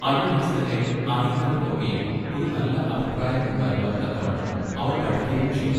അവിടെ വെച്ച് തന്നെ അറിയുന്നവർക്ക് ഒക്കെയും ഒരു നല്ല അഭിപ്രായം ഉണ്ടാകുവാൻ തക്കവണ്ണം അവൾ പഠിക്കയും ചെയ്തു.